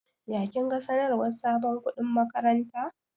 Ya kinga sanarwar sabon kuɗin makaranta?